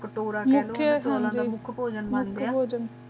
ਤੁਰਨ ਦਾ